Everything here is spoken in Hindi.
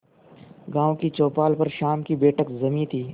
गांव की चौपाल पर शाम की बैठक जमी थी